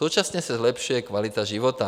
Současně se zlepšuje kvalita života.